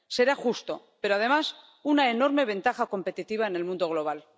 Será justo, pero, además, una enorme ventaja competitiva en el mundo global.